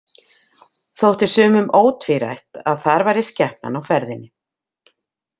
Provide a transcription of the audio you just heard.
Þótti sumum ótvírætt að þar væri skepnan á ferðinni.